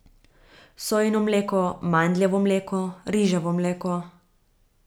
Sojino mleko, mandljevo mleko, riževo mleko ...